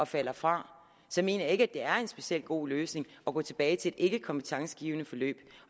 falder fra mener jeg ikke at det er en specielt god løsning at gå tilbage til et ikkekompetencegivende forløb